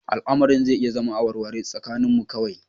Al'amarin zai iya zama a warware tsakaninmu kawai